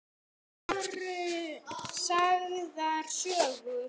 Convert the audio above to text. Svo voru sagðar sögur.